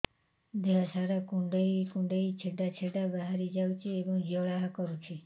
ଦେହ ସାରା କୁଣ୍ଡେଇ କୁଣ୍ଡେଇ ଛେଡ଼ା ଛେଡ଼ା ବାହାରି ଯାଉଛି ଏବଂ ଜ୍ୱାଳା କରୁଛି